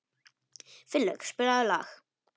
Finnlaug, spilaðu lag.